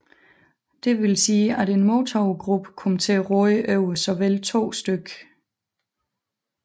Det vil sige at en MOTOV gruppe kom til at råde over såvel to stk